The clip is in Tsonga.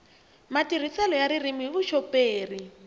matirhiselo ya ririmi hi vuxoperi